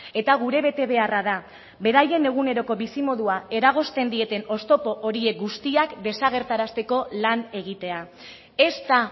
eta gure betebeharra da beraien eguneroko bizimodua eragozten dieten oztopo horiek guztiak desagerrarazteko lan egitea ez da